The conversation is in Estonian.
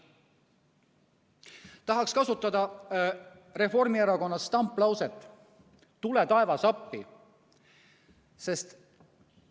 Tahaksin kasutada Reformierakonna stamplauset "Tule taevas appi!".